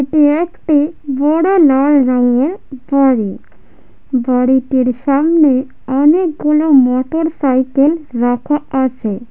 এটি একটি বড় লাল রঙের বাড়ি বাড়িটির সামনে অনেকগুলো মোটরসাইকেল রাখা আছে ।